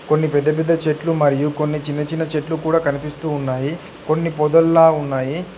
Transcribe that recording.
కొన్ని పెద్ద పెద్ద చెట్లు మరియు కొన్ని చిన్న చిన్న చెట్లు కూడా కనిపిస్తూ ఉన్నాయి కొన్ని పొదల్లా ఉన్నాయి.